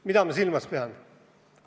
Mida ma silmas pean?